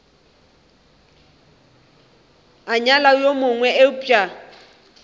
a nyala yo mongwe eupša